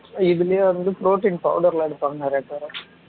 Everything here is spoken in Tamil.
இதுலயே வந்து protein powder லாம் எடுப்பாங்க நிறைய பேரு